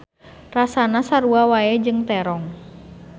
Rasana sarua wae jeung terong.